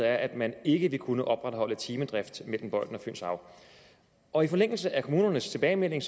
at man ikke vil kunne opretholde timedrift mellem bøjden og fynshav og i forlængelse af kommunernes tilbagemelding